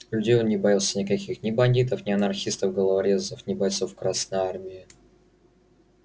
людей он не боялся никаких ни бандитов не анархистов-головорезов ни бойцов красной армии